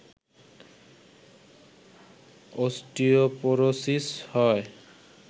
osteoporosis হয়